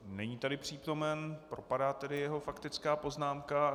Není tady přítomen, propadá tedy jeho faktická poznámka.